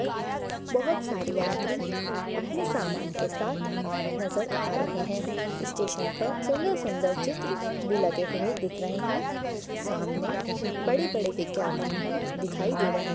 पर बहोत सारी यात्री अपने सामन के सात नज़र आ रहे है स्टेशन पर सुन्दर सुन्दर चित्र भी लगे हुए दिख रहे है सामने बड़े-बड़े विज्ञापन भी दिखाई दे रहे--